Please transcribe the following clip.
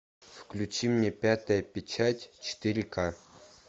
включи мне пятая печать четыре ка